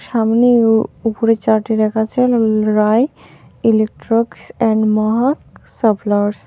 সামনে ও উপরে চার্টে লেখা আছে রা-রায় ইলেকট্রক্স এন্ড মহাক সাপ্লঅর্স .